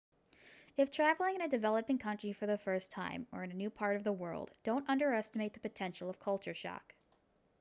if traveling in a developing country for the first time or in a new part of the world don't underestimate the potential culture shock